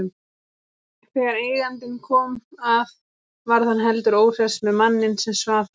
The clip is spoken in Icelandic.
Þegar eigandinn kom að varð hann heldur óhress með manninn sem svaf þarna.